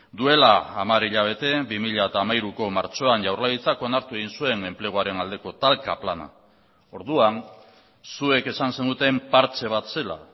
duela hamar hilabete bi mila hamairuko martxoan jaurlaritzak onartu egin zuen enpleguaren aldeko talka plana orduan zuek esan zenuten partxe bat zela